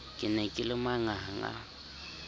ke ne ke le manganga